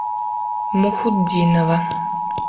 мухутдинова